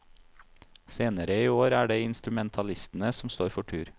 Senere i år er det instrumentalistene som står for tur.